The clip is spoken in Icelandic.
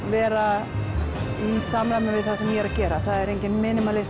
vera í samræmi við það sem ég er að gera það er enginn